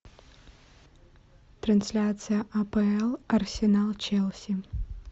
трансляция апл арсенал челси